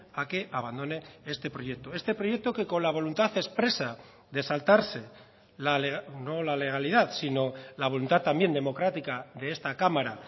a que abandone este proyecto este proyecto que con la voluntad expresa de saltarse no la legalidad sino la voluntad también democrática de esta cámara